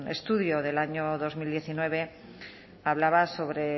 estudio del año dos mil diecinueve hablaba sobre